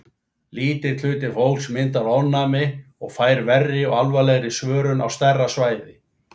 Lítill hluti fólks myndar ofnæmi og fær verri og alvarlegri svörun á stærra svæði.